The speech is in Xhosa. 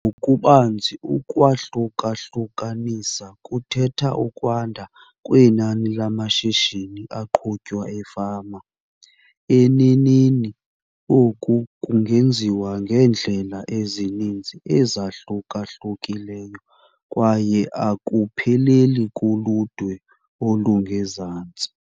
Ngokubanzi, ukwahluka-hlukanisa kuthetha ukwanda kwenani lamashishini aqhutywa efama. Eneneni, oku kungenziwa ngeendlela ezininzi ezahluka-hlukileyo kwaye akupheleli kuludwe olungezantsi.